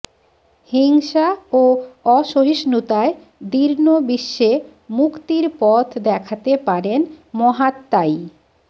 হিংসা ও অসহিষ্ণুতায় দীর্ণ বিশ্বে মুক্তির পথ দেখাতে পারেন মহাত্মাই